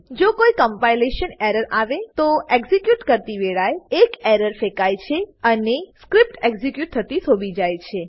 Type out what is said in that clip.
જો કોઈ compilation error આવે તો એક્ઝીક્યુટ કરતી વેળાએ એક એરર ફેંકાય છે અને સ્ક્રીપ્ટ એક્ઝીક્યુટ થતી થોભી જાય છે